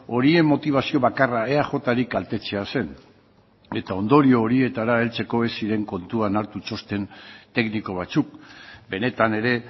horien motibazio bakarra eajri kaltetzea zen eta ondorio horietara heltzeko ez ziren kontuan hartu txosten tekniko batzuk benetan ere